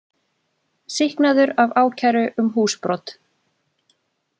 Sýknaður af ákæru um húsbrot